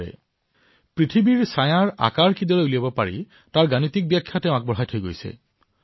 গণিতৰ জৰিয়তে তেওঁ পৃথিৱীৰ ছায়াৰ আকাৰ গণনা কিদৰে কৰিব পাৰি সেয়া ব্যাখ্যা কৰিছিল